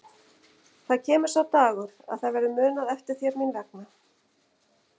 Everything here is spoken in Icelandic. Það kemur sá dagur að það verður munað eftir þér mín vegna.